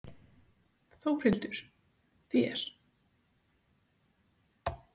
Þórhildur: Þér?